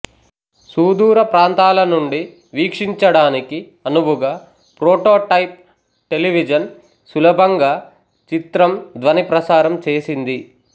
సూదూరప్రాంతాల నుండి వీక్షించడానికి అనువుగా ప్రొటోటైప్ టెలివిజన్ సులభంగా చిత్రం ధ్వని ప్రసారం చేసింది